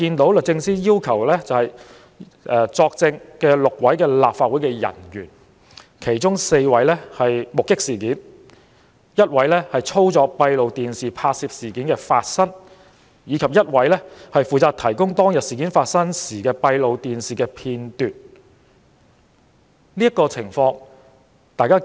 被律政司要求作證的6名立法會人員，其中4名目擊事件發生，一名負責操作閉路電視拍攝事件發生，以及另一名負責提供當日事件發生時的閉路電視片段。